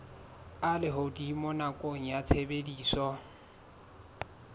a lehodimo nakong ya tshebediso